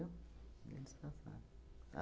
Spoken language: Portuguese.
Via eles passarem.